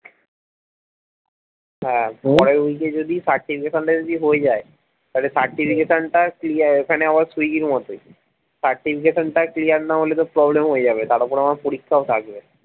হ্যাঁ পরের week এ যদি certification টা যদি হয়ে যায় তাহলে certification টা clear এখানে আবার সুইগির মতোই certification টা clear না হলে তো problem হয়ে যাবে তার উপর আমার পরীক্ষা ও থাকবে